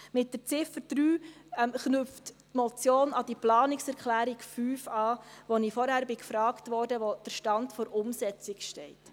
Mit der Ziffer 3 knüpft die Motion an die Planungserklärung 5 an, zu der ich vorhin gefragt wurde, wie es um den Stand der Umsetzung steht.